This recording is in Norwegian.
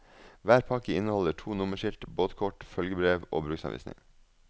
Hver pakke inneholder to nummerskilt, båtkort, følgebrev og bruksanvisning.